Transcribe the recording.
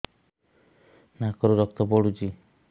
ନାକରୁ ରକ୍ତ ପଡୁଛି